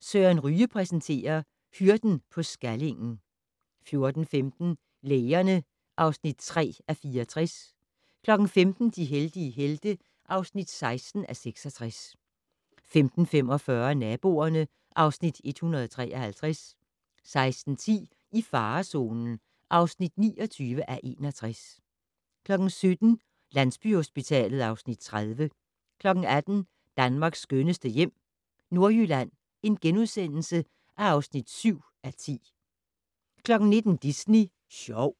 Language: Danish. Søren Ryge præsenterer: Hyrden på Skallingen 14:15: Lægerne (3:64) 15:00: De heldige helte (16:66) 15:45: Naboerne (Afs. 153) 16:10: I farezonen (29:61) 17:00: Landsbyhospitalet (Afs. 30) 18:00: Danmarks skønneste hjem - Nordjylland (7:10)* 19:00: Disney Sjov